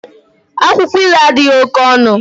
Akwụkwọ ilu adịghị oke ọnụ